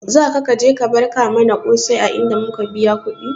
Zaka ka je ka barka mana kosai a inda muka biya kudi?